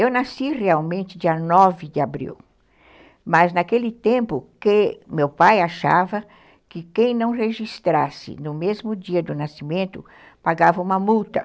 Eu nasci realmente dia nove de abril, mas naquele tempo que meu pai achava que quem não registrasse no mesmo dia do nascimento pagava uma multa.